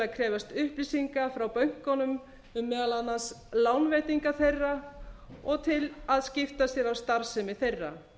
krefjast upplýsinga frá bönkunum um meðal annars lánveitingar þeirra og til að skipta sér af starfsemi þeirra